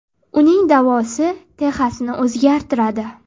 Uning da’vosi Texasni o‘zgartiradi.